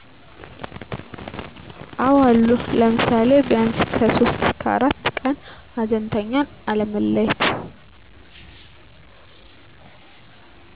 አወ አሉ ለምሳሌ ቢያንስ ከ3-4 ቀን ሀዘንተኛን አለመለየት